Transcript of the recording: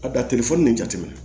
A bɛ nin jateminɛ